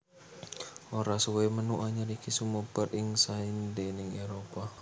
Ora suwé menu anyar iki sumebar ing saindhenging Éropah